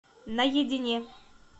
наедине